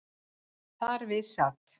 Þar við sat